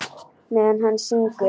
Meðan hann syngur.